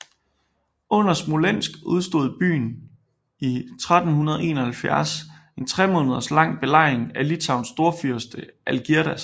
Under Smolensk udstod byen i 1371 en tremåneders lang belejring af Litauens storfyrste Algirdas